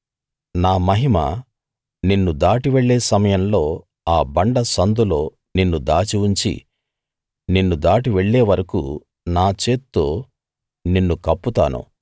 నా మహిమ నిన్ను దాటి వెళ్ళే సమయంలో ఆ బండ సందులో నిన్ను దాచి ఉంచి నిన్ను దాటి వెళ్ళే వరకూ నా చేత్తో నిన్ను కప్పుతాను